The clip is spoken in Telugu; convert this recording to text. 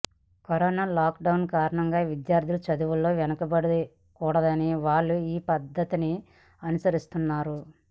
కరోనా లాక్డౌన్ కారణంగా విద్యార్థులు చదువులో వెనకబడకూడదని వాళ్లు ఈ పద్ధతిని అనుసరిస్తున్నారు